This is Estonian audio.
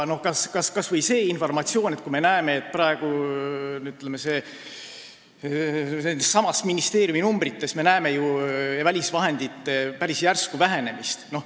Mõtleme kas või sellele informatsioonile, et me praegu nendessamades ministeeriumi numbrites näeme ju välisvahendite päris järsku vähenemist.